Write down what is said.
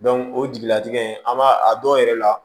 o jigilatigɛ in an b'a a dɔw yɛrɛ la